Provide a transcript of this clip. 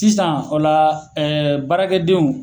Tisan o la baarakɛ denw